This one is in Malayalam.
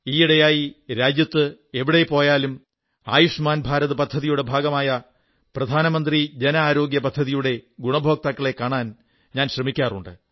ഈയിടെ രാജ്യത്ത് ഞാൻ എവിടേക്കു പോയാലും ആയുഷ്മാൻ ഭാരത് പദ്ധതിയുടെ ഭാഗമായ പ്രധാനമന്ത്രി ജന ആരോഗ്യ പദ്ധതിയുടെ ഗുണഭോക്താക്കളെ കാണാൻ ശ്രമിക്കാറുണ്ട്